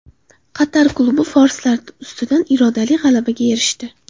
Qatar klubi forslar ustidan irodali g‘alabaga erishdi.